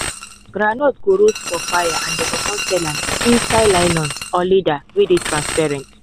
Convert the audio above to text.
groundnut go roast for fire and dey go con sell am inside nylon or leather wey dey transparent.